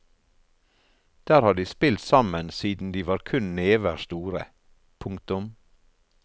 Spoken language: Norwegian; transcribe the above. Der har de spilt sammen siden de var kun never store. punktum